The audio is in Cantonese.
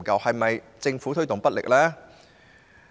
是否政府推動不力呢？